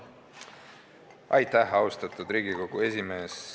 Austatud Riigikogu esimees!